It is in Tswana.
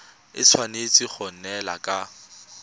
e tshwanetse go neelana ka